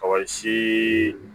Kɔkɔ si